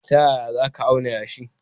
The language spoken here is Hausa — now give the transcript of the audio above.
Ta yaya za ka auna yashi?